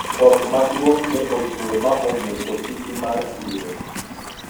koth maduong' ne ochwe ma omuko sisi mar siro